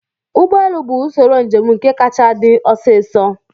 Ụgbọelu bụ usoro njem nke kacha dị osiso